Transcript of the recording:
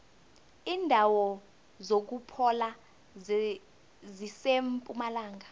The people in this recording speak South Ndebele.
indawo zokuphola zisempumalanga